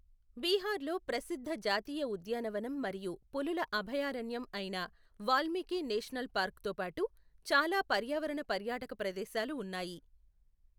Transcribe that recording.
బీహార్లో ప్రసిద్ధ జాతీయ ఉద్యానవనం మరియు పులుల అభయారణ్యం అయిన వాల్మీకి నేషనల్ పార్క్తో పాటు చాలా పర్యావరణ పర్యాటక ప్రదేశాలు ఉన్నాయి.